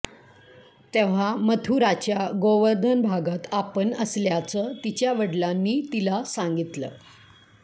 तेव्हा मथुराच्या गोवर्धन भागात आपण असल्याचं तिच्या वडिलांनी तिला सांगितलं